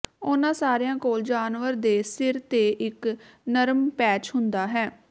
ਉਨ੍ਹਾਂ ਸਾਰਿਆਂ ਕੋਲ ਜਾਨਵਰ ਦੇ ਸਿਰ ਤੇ ਇੱਕ ਨਰਮ ਪੈਚ ਹੁੰਦਾ ਹੈ